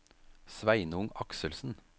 Sveinung Akselsen